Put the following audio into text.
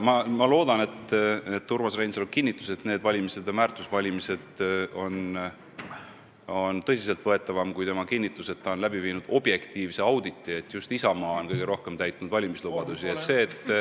Ma loodan, et Urmas Reinsalu kinnitus, et need valimised on väärtuste valimised, on tõsiselt võetavam kui tema kinnitus, et ta on läbi viinud objektiivse auditi, mille tulemusel on selgunud, et just Isamaa on kõige rohkem valimislubadusi täitnud.